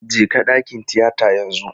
Jeka dakin tiyata yanzu!